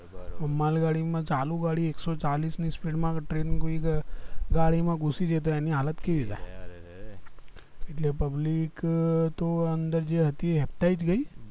માલ ગાડી માં ચાલુ ગાડી એક્સોચાલીસ ની speed માં train ગાડી માં ઘુસી ગય તો એની હાલત કેવી થાય એટલે public તો અંદર જે હતી એ હેબતાઈ ગય